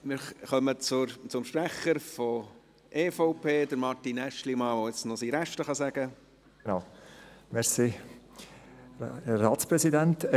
Wir kommen zum Sprecher der EVP, zu Martin Aeschlimann, der nun sein restliches Votum halten kann.